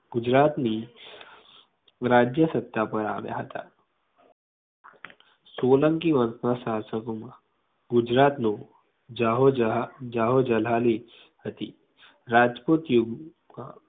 ગુજરાતની રાજ્ય સત્તા પર આવ્યા હતા. સોલંકી વંશના શાસકો ગુજરાત નુ જાહોજલા જાહોજલાલી હતી રાજપુતી